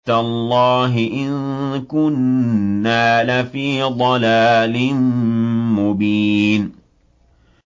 تَاللَّهِ إِن كُنَّا لَفِي ضَلَالٍ مُّبِينٍ